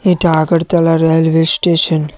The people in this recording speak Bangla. এটা আগারতলা র্যালওয়ে স্টেশন ।